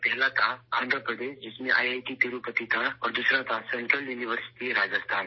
پہلا تھا ، آندھرا پردیش ، جس میں آئی آئی ٹی تروپتی تھا اور دوسرا تھا ، سنٹرل یونیورسٹی، راجستھان